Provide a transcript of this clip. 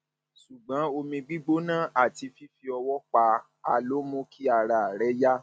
ṣùgbọn omi gbígbóná àti fífi ọwọ pa á ló mú kí ara rẹ yá